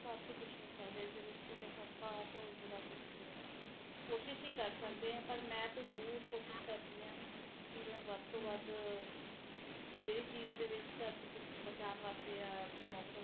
ਬਹੁਤ ਠੰਡੇ ਮੌਸਮ ਨੂੰ ਵੀ ਦੇਖ਼ ਲਿਆ ਤੇ ਬਹੁਤ ਗਰਮ ਨੂੰ ਵੀ ਦੇਖਾ ਗੇ ਲੇਕਿਨ ਆਪਣੇ ਬੱਚਿਆਂ ਨੂੰ ਤਾ ਪਤਾ ਹੀ ਨਹੀਂ ਚਲਣਾ ਕਿ ਪਹਿਲੇ ਕਿ ਹਾਲ ਹੁੰਦਾ ਸੀ ਉਹ ਸਿਰਫ ਕਹਾਣੀਆਂ ਚ ਸੁਨਣ ਗੇ ਕਿ ਹਾਂ ਜੀ ਪਹਿਲਾ ਏਦਾਂ ਰਹਿੰਦਾ ਸੀ ਸਭ ਕੁਜ ਓਹਨਾ ਨੂੰ ਤਾ ਕੁਜ ਪਤਾ ਹੀ ਨਹੀਂ ਚਲਣਾ